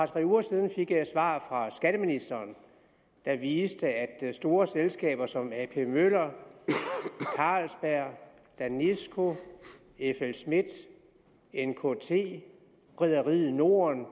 tre uger siden fik jeg et svar fra skatteministeren der viste at store selskaber som ap møller carlsberg danisco flsmidth nkt og rederiet norden